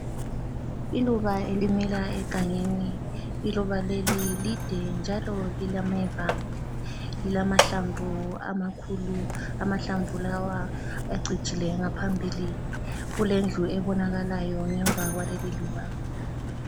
Iluba elimila egangeni, iluba leli lide njalo lilameva lilamahlamvu amakhulu, amahlamvu lawa acijile ngaphambili, kulendlu ebonakalayo ngemva kwaleli luba